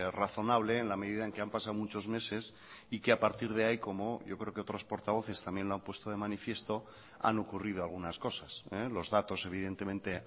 razonable en la medida en que han pasado muchos meses y que a partir de ahí como yo creo que otros portavoces también lo han puesto de manifiesto han ocurrido algunas cosas los datos evidentemente